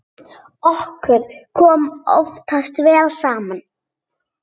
Okkur kom oftast vel saman.